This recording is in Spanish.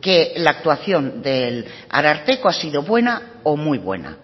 que la actuación del ararteko ha sido buena o muy buena